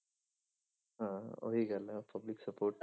ਹਾਂ ਉਹੀ ਗੱਲ ਹੈ public support